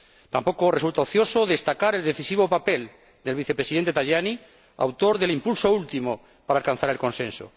Tampoco resulta ocioso destacar el decisivo papel del Vicepresidente Tajani, autor del impulso último para alcanzar el consenso.